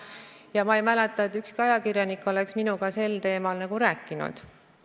Ja ma ei mäleta, et ükski ajakirjanik oleks minuga sel teemal rääkinud.